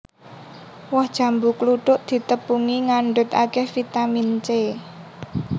Woh jambu kluthuk ditepungi ngandhut akèh vitamin C